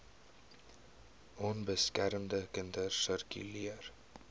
onbeskermde kinders sirkuleer